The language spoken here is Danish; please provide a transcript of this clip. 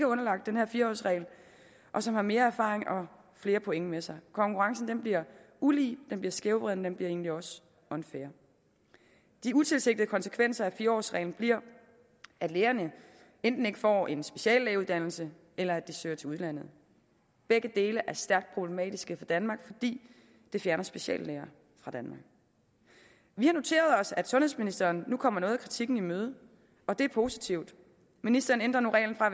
underlagt den her fire årsregel og som har mere erfaring og flere point med sig konkurrencen bliver ulige den bliver skævvreden og den bliver egentlig også unfair de utilsigtede konsekvenser af fire årsreglen bliver at lægerne enten ikke får en speciallægeuddannelse eller at de søger til udlandet begge dele er stærkt problematiske for danmark fordi det fjerner speciallæger fra danmark vi har noteret os at sundhedsministeren nu kommer noget af kritikken i møde og det er positivt ministeren ændrer nu reglen fra